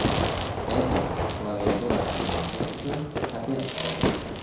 Apple klaviaturasiz MacBook uchun patent oldi.